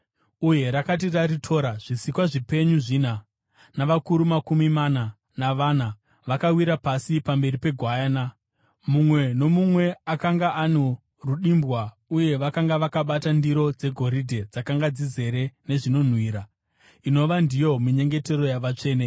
Uye rakati raritora, zvisikwa zvipenyu zvina navakuru makumi mana navana vakawira pasi pamberi peGwayana. Mumwe nomumwe akanga ano rudimbwa uye vakanga vakabata ndiro dzegoridhe dzakanga dzizere nezvinonhuhwira, inova ndiyo minyengetero yavatsvene.